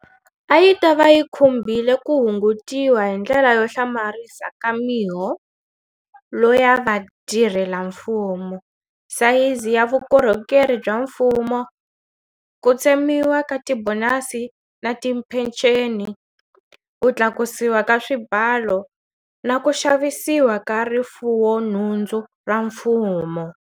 A yi ta va yi khumbile ku hungutiwa hindlela yo hlamarisa ka miholo ya vatirhelamfumo, sayizi ya vukorhokeri bya mfumo, ku tsemiwa ka tibonasi na tiphenceni, ku tlakusiwa ka swibalo na ku xavisiwa ka rifuwonhundzu ra mfumo.